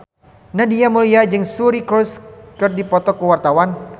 Nadia Mulya jeung Suri Cruise keur dipoto ku wartawan